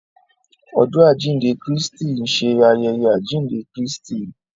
Ọjọ ajinde Kristi nṣe ayẹyẹ ajinde Kristi.